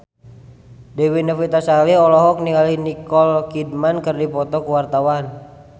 Dewi Novitasari olohok ningali Nicole Kidman keur diwawancara